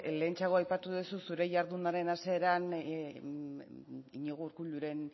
lehentxeago aipatu duzu zure jardunaren hasieran iñigo urkulluren